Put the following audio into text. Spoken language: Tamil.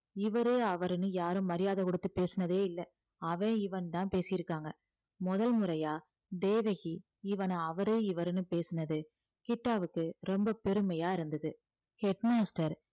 இவரு அவருன்னு யாரும் மரியாதை கொடுத்து பேசினதே இல்லை அவன் இவன்னுதான் பேசியிருக்காங்க முதல் முறையா தேவகி இவனை அவரு இவருன்னு பேசுனது கிட்டாவுக்கு ரொம்ப பெருமையா இருந்தது head master